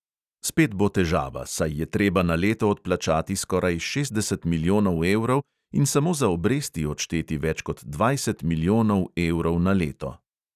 Spet bo težava, saj je treba na leto odplačati skoraj šestdeset milijonov evrov in samo za obresti odšteti več kot dvajset milijonov evrov na leto.